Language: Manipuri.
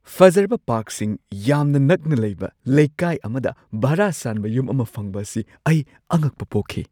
ꯐꯖꯔꯕ ꯄꯥꯔꯛꯁꯤꯡ ꯌꯥꯝꯅ ꯅꯛꯅ ꯂꯩꯕ ꯂꯩꯀꯥꯏ ꯑꯃꯗ ꯚꯥꯔꯥ ꯁꯥꯟꯕ ꯌꯨꯝ ꯑꯃ ꯐꯪꯕꯁꯤ ꯑꯩ ꯑꯉꯛꯄ ꯄꯣꯛꯈꯤ꯫